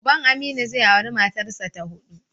Uban Aminu zai auri matarsa ta huɗu.